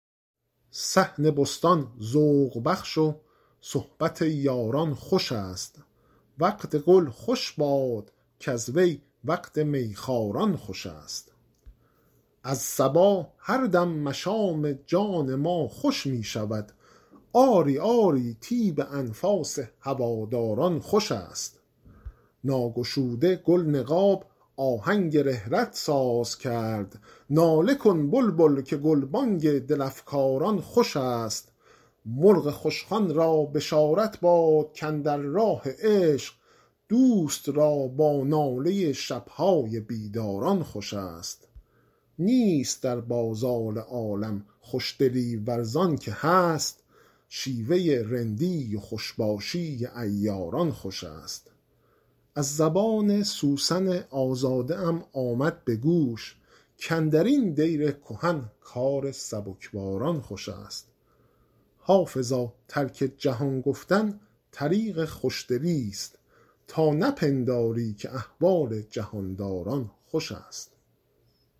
صحن بستان ذوق بخش و صحبت یاران خوش است وقت گل خوش باد کز وی وقت می خواران خوش است از صبا هر دم مشام جان ما خوش می شود آری آری طیب انفاس هواداران خوش است ناگشوده گل نقاب آهنگ رحلت ساز کرد ناله کن بلبل که گلبانگ دل افکاران خوش است مرغ خوشخوان را بشارت باد کاندر راه عشق دوست را با ناله شب های بیداران خوش است نیست در بازار عالم خوشدلی ور زان که هست شیوه رندی و خوش باشی عیاران خوش است از زبان سوسن آزاده ام آمد به گوش کاندر این دیر کهن کار سبکباران خوش است حافظا ترک جهان گفتن طریق خوشدلیست تا نپنداری که احوال جهان داران خوش است